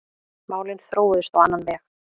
Málin þróuðust á annan veg.